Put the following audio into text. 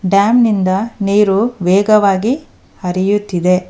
Dam ನಿಂದ ನೀರು ವೇಗವಾಗಿ ಹರಿಯುತ್ತಿದೆ.